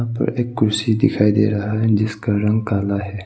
और एक कुर्सी दिखाई दे रहा है जिसका रंग काला है।